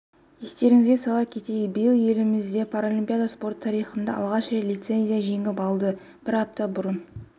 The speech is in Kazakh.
естеріңізге сала кетейік биыл еліміз паралимпиада спорты тарихында алғаш рет лицензия жеңіп алды бір апта бұрын